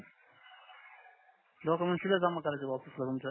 documents तितस जमा करावे ऑफिसला तुमच्या